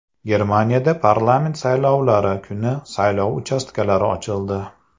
Germaniyada parlament saylovlari kuni saylov uchastkalari ochildi.